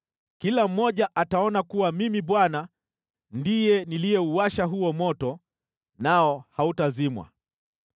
Kila mmoja ataona kuwa mimi Bwana ndiye niliyeuwasha huo moto, nao hautazimwa.’ ”